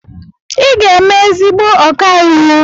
Ị ga-eme ezigbo ọkàiwu.